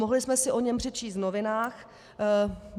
Mohli jsme si o něm přečíst v novinách.